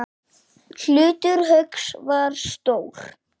Hlutur Hauks var stór.